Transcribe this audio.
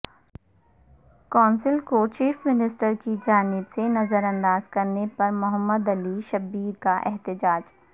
council کو chief minister کی جانب سے نظرانداز کرنے پر محمد علی شبیر کا احتجاج